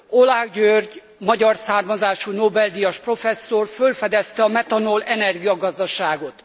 Oláh György magyar származású Nobel díjas professzor fölfedezte a metanol energiagazdaságot.